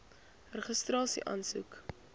registrasieaansoek